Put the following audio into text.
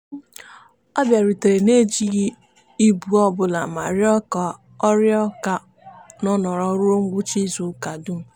ọ bịarutere n'ejighị ịbụ ọbụla ma rịọ ka ọ rịọ ka ọ nọrọ ruo ngwụcha izuụka dum.